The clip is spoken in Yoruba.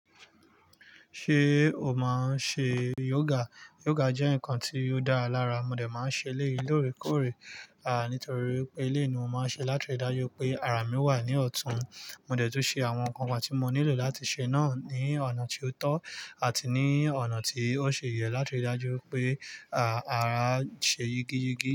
Ṣé o máa ń ṣe yoga? Yoga jẹ́ nǹkan tí ó dáa lára, mo dẹ̀ máa ń ṣe eleyii lóòrèkóòrè, nítorí wipé eleyii ni mo máa ń ṣe látiri dájú wipé ara mi wà ní ọ̀tún. Mo dẹ̀ tún ṣe àwọn nǹkan kan tí mo nílò láti ṣe náà ní ọ̀nà tí ó tó àti ní ọ̀nà tí ó ṣe yẹ látiri dájú wipé, ara ṣe yígi yígi.